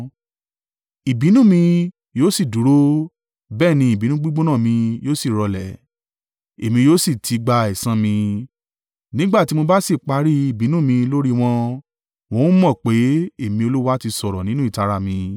“Ìbínú mi yóò sì dúró, bẹ́ẹ̀ ni ìbínú gbígbóná mi yóò sì rọlẹ̀, èmi yóò sì ti gba ẹ̀san mi. Nígbà tí mo bá sì parí ìbínú mi lórí wọn, wọn ó mọ̀ pé, Èmi Olúwa ti sọ̀rọ̀ nínú ìtara mi.